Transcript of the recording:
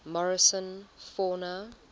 morrison fauna